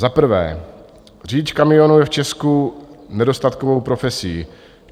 Za prvé, řidič kamionu je v Česku nedostatkovou profesí.